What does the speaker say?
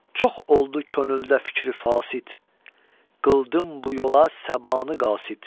Çox oldu könüldə fikri fasid, qıldım bu yola səbanı qasid.